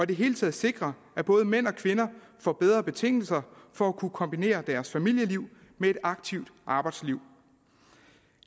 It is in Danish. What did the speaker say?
det hele taget sikre at både mænd og kvinder får bedre betingelser for at kunne kombinere deres familieliv med et aktivt arbejdsliv